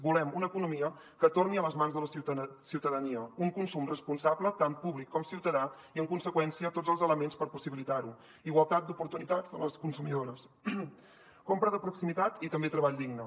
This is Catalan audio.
volem una economia que torni a les mans de la ciutadania un consum responsable tant públic com ciutadà i en conseqüència tots els elements per possibilitar ho igualtat d’oportunitats de les consumidores compra de proximitat i també treball digne